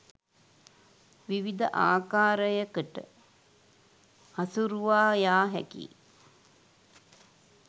විවිධ ආකාරයකට හසුරුවා යා හැකියි.